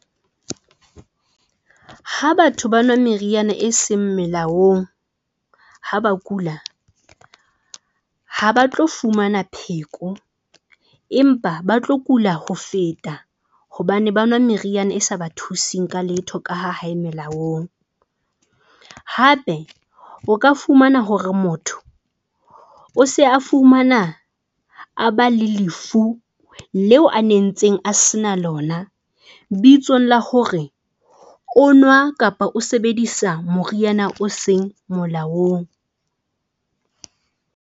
Ha batho ba nwa meriana e seng melaong ha ba kula, ha ba tlo fumana pheko, empa ba tlo kula ho feta. Hobane ba nwa meriana e sa ba thuseng ka letho ka ha ha e melaong. Hape o ka fumana hore motho o se a fumana a ba le lefu leo a nentseng a se na lona bitsong la hore o nwa kapa o sebedisa moriana o seng molaong.